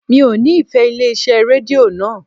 Mi ò nífẹ̀ẹ́ ilé iṣẹ́ rédíò naa